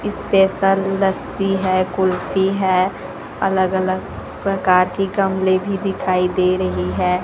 Special lassi है कुल्फी है अलग अलग प्रकार की गमले भी दिखाई दे रही है।